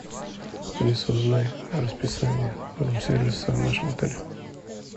алиса узнай расписание рум сервиса в нашем отеле